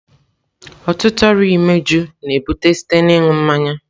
Ọtụtụ ọrịa imeju na-ebute site na ịṅụ mmanya.